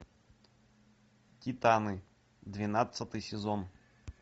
титаны двенадцатый сезон